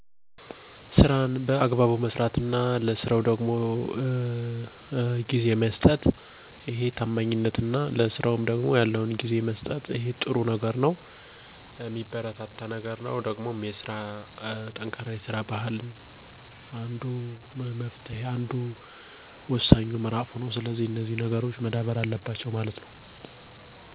ታማኝነት ሲሆን ከዛ በተጨማሪም ጠንካራ የሰራ ባህል ጭምርም ነው።